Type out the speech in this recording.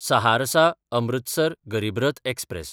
सहारसा–अमृतसर गरीब रथ एक्सप्रॅस